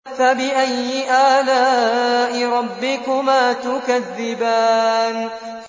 فَبِأَيِّ آلَاءِ رَبِّكُمَا تُكَذِّبَانِ